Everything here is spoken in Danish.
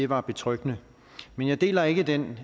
var betryggende men jeg deler ikke den